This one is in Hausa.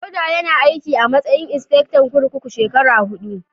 Dauda yana aiki a matsayin insifectan kurkuku shekara huɗu.